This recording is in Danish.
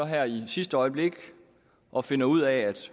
her i sidste øjeblik og finder ud af